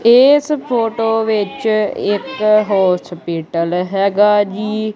ਇਸ ਫੋਟੋ ਵਿੱਚ ਇੱਕ ਹੋਸਪੀਟਲ ਹੈਗਾ ਜੀ।